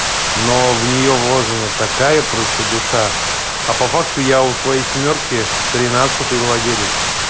но в нее вложено такая просто душа а по факту я у своей семёрки тринадцатый владелец